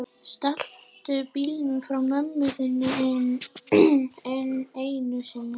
Stalstu bílnum frá mömmu þinni enn einu sinni?